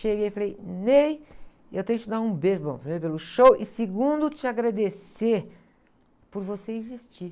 Cheguei, falei, Ney, eu tenho que te dar um beijo, bom, primeiro pelo show, e segundo, te agradecer por você existir.